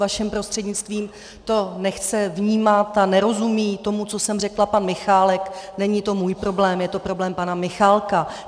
vaším prostřednictvím - to nechce vnímat a nerozumí tomu, co jsem řekla, pan Michálek, není to můj problém, je to problém pana Michálka.